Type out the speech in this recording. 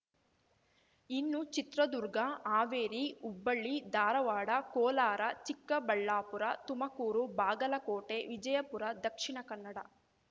ಇನ್ನು ಚಿತ್ರದುರ್ಗ ಹಾವೇರಿ ಹುಬ್ಬಳ್ಳಿ ಧಾರವಾಡ ಕೋಲಾರ ಚಿಕ್ಕಬಳ್ಳಾಪುರ ತುಮಕೂರು ಬಾಗಲಕೋಟೆ ವಿಜಯಪುರ ದಕ್ಷಿಣ ಕನ್ನಡ